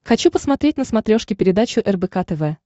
хочу посмотреть на смотрешке передачу рбк тв